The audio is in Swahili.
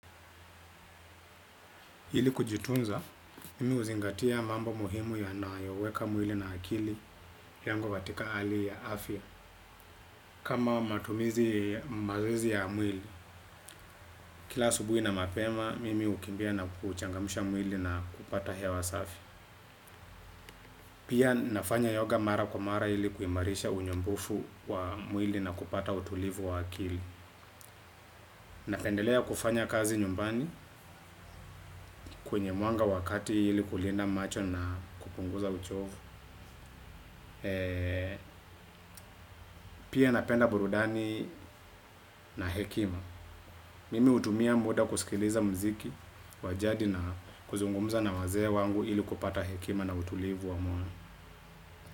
Ili kujitunza, mimi huzingatia mambo muhimu yanayoweka mwili na akili yangu katika hali ya afya. Kama matumizi, mazoezi ya mwili, kila asubuhi na mapema, mimi hukimbia na kuchangamsha mwili na kupata hewa safi. Pia nafanya yoga mara kwa mara ili kuimarisha unyombofu wa mwili na kupata utulivu wa akili. Napendelea kufanya kazi nyumbani kwenye mwanga wa kati ili kulinda macho na kupunguza uchovu. Pia napenda burudani na hekima. Mimi hutumia muda kusikiliza muziki wa jadi na kuzungumza na wazee wangu ili kupata hekima na utulivu wa moyo.